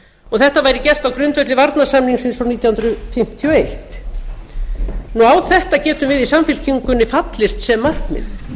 og þetta væri gert á grundvelli varnarsamningsins frá nítján hundruð fimmtíu og eitt á þetta getum við í samfylkingunni fallist sem markmið